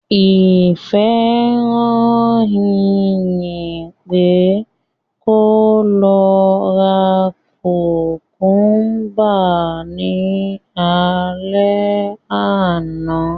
Ìfẹ́ rán Ìyìn pé kó lọ ra kùmkúmbà ní alẹ́ àná